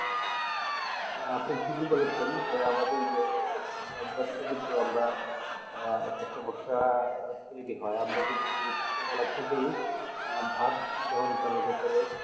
আপনি ঠিকই বলেছেন তো আমাদের যে খাদ্য অভ্যাস তো আমরা আজ যে সমস্যা উচ্চ কলা থেকে আর ভাত গ্রহণ করার ব্যাপারে